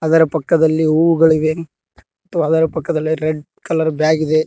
ಅದರ ಪಕ್ಕದಲ್ಲಿ ಹೂ ಗಳಿವೆ ಮತ್ತು ಅದರ ಪಕ್ಕದಲ್ಲಿ ರೆಡ್ ಕಲರ್ ಬ್ಯಾಗ್ ಇದೆ.